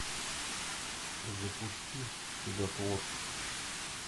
запусти чудотворцы